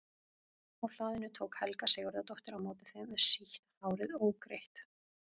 Á hlaðinu tók Helga Sigurðardóttir á móti þeim með sítt hárið ógreitt.